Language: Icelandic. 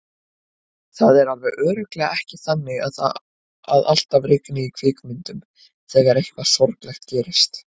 Það er alveg örugglega ekki þannig að alltaf rigni í kvikmyndum þegar eitthvað sorglegt gerist.